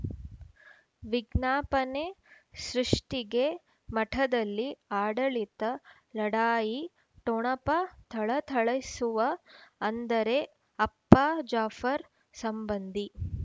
ವಿಜ್ಞಾಪನೆ ಸೃಷ್ಟಿಗೆ ಮಠದಲ್ಲಿ ಆಡಳಿತ ಲಢಾಯಿ ಠೊಣಪ ಥಳಥಳಿಸುವ ಅಂದರೆ ಅಪ್ಪ ಜಾಫರ್ ಸಂಬಂಧಿ